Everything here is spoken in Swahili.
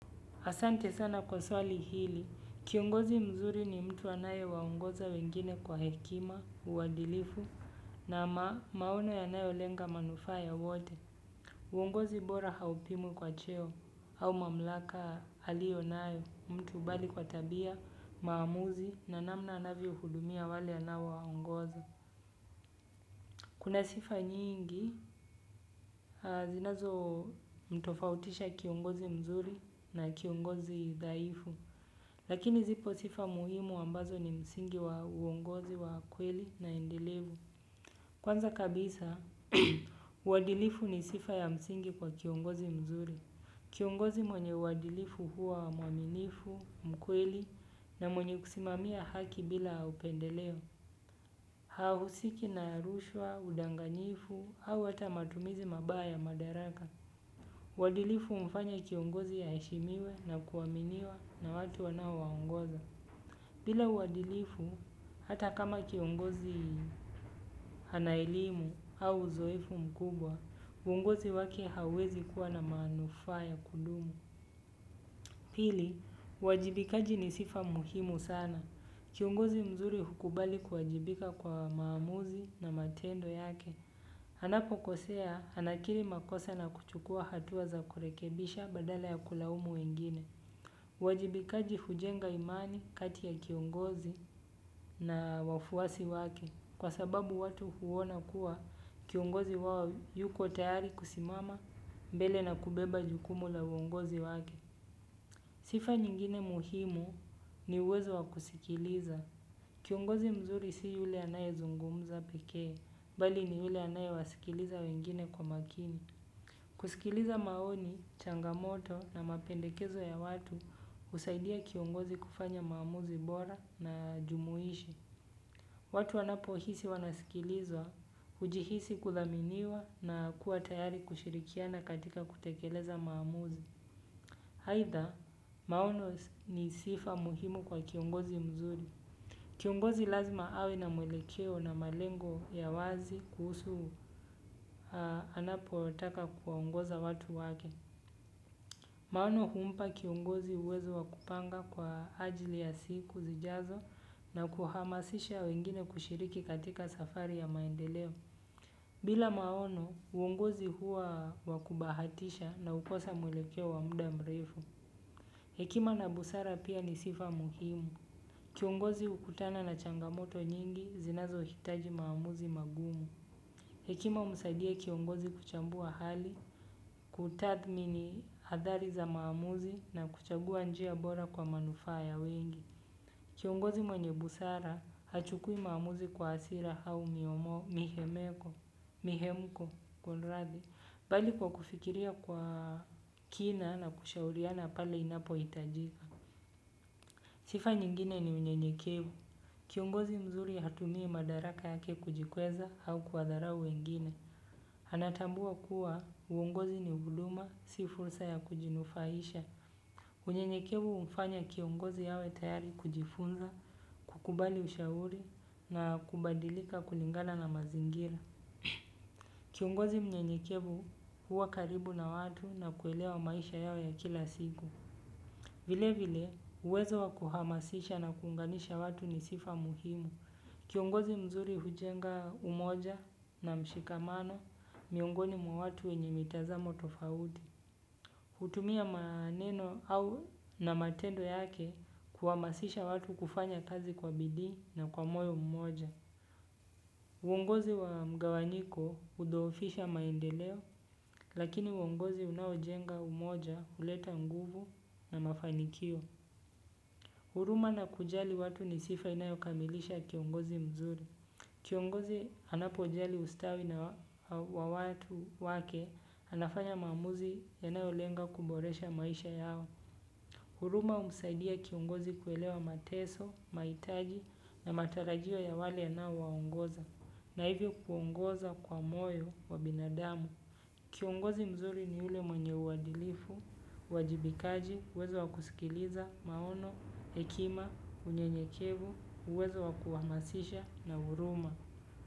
Asante sana kwa swali hili kiongozi mzuri ni mtu anayewaongoza wengine kwa hekima uadilifu na maono yanayolenga manufaa ya wote. Uongozi bora haupimwi kwa cheo, au mamlaka alio nayo, mtu bali kwa tabia, maamuzi, na namna anavyohudumia wale anaowaongoza. Kuna sifa nyingi zinazomtofautisha kiongozi mzuri na kiongozi dhaifu lakini zipo sifa muhimu ambazo ni msingi wa uongozi wa kweli na endelevu. Kwanza kabisa, uadilifu ni sifa ya msingi kwa kiongozi mzuri. Kiongozi mwenye uadilifu huwa mwaminifu, mkweli na mwenye kusimamia haki bila upendeleo. Hausiki na rushwa, udanganyifu au hata matumizi mabaya madaraka. Uadilifu humfanya kiongozi aheshimiwe na kuaminiwa na watu anaowaongoza. Bila uadilifu, hata kama kiongozi ana elimu au uzoefu mkubwa, uongozi wake hauwezi kuwa na manufaa ya kudumu. Pili, uwajibikaji ni sifa muhimu sana. Kiongozi mzuri hukubali kuwajibika kwa maamuzi na matendo yake. Anapokosea, anakiri makosa na kuchukua hatua za kurekebisha badala ya kulaumu wengine. Uwajibikaji hujenga imani kati ya kiongozi na wafuwasi wake. Kwa sababu watu huona kuwa kiongozi wao yuko tayari kusimama mbele na kubeba jukumu la uongozi wake. Sifa nyingine muhimu ni uwezo wa kusikiliza. Kiongozi mzuri si yule anayezungumuza pekee, bali ni yule anayewasikiliza wengine kwa makini. Kusikiliza maoni, changamoto na mapendekezo ya watu husaidia kiongozi kufanya maamuzi bora na jumuishi. Watu wanapohisi wanasikilizwa, hujihisi kuthaminiwa na kuwa tayari kushirikiana katika kutekeleza maamuzi. Aidha, maono ni sifa muhimu kwa kiongozi mzuri. Kiongozi lazima awe na mwelekeo na malengo ya wazi kuhusu anapotaka kuongoza watu wake. Maono humpa kiongozi uwezo wa kupanga kwa ajili ya siku zijazo na kuhamasisha wengine kushiriki katika safari ya maendeleo. Bila maono, uongozi huwa wa kubahatisha na hukosa mwelekeo wa muda mrefu. Hekima na busara pia ni sifa muhimu. Kiongozi hukutana na changamoto nyingi zinazohitaji maamuzi magumu hekima humsaidia kiongozi kuchambua hali kutathmini athari za maamuzi na kuchagua njia bora kwa manufaa ya wengi. Kiongozi mwenye busara, hachukui maamuzi kwa hasira au mihemeko, mihemko, kuniradhi bali kwa kufikiria kwa kina na kushauriana pale inapohitajika. Sifa nyingine ni mwenye unyenyekevu kiongozi mzuri hatumii madaraka yake kujikweza au kuwadharau wengine. Anatambua kuwa uungozi ni huduma, si fursa ya kujinufaisha. Unyenyekevu humfanya kiongozi awe tayari kujifunza, kukubali ushauri na kubadilika kulingana na mazingira. Kiongozi mnyenyekevu huwa karibu na watu na kuelewa maisha yao ya kila siku. Vile vile, uwezo wa kuhamasisha na kuunganisha watu ni sifa muhimu. Kiongozi mzuri hujenga umoja na mshikamano miongoni mwa watu wenye mitazamo tofauti. Hutumia maneno au na matendo yake kuhamasisha watu kufanya kazi kwa bidii na kwa moyo mmoja. Uongozi wa mgawanyiko hudhoofisha maendeleo lakini uongozi unaojenga umoja huleta nguvu na mafanikio. Huruma na kujali watu ni sifa inayokamilisha kiongozi mzuri. Kiongozi anapojali ustawi wa watu wake anafanya maamuzi yanayolenga kuboresha maisha yao. Huruma humsaidia kiongozi kuelewa mateso, mahitaji na matarajio ya wale anaowaongoza, na hivyo kuongoza kwa moyo wa binadamu. Kiongozi mzuri ni yule mwenye uadilifu uwajibikaji uwezo wa kusikiliza maono hekima unyenyekevu uwezo wa kuhamasisha na huruma.